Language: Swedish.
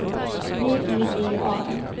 V I V A N